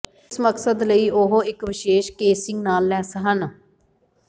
ਇਸ ਮਕਸਦ ਲਈ ਉਹ ਇੱਕ ਵਿਸ਼ੇਸ਼ ਕੇਸਿੰਗ ਨਾਲ ਲੈਸ ਹਨ